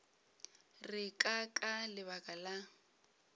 re ke ka lebaka la